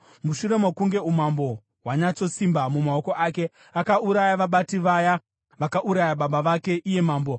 Mushure mokunge umambo hwanyatsosimba mumaoko ake, akauraya vabati vaya vakauraya baba vake iye mambo.